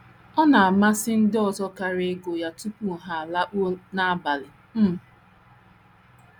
* Ọ na - amasị ndị ọzọ karị ịgụ ya tupu ha alakpuo n’abalị um.